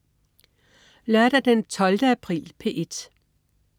Lørdag den 12. april - P1: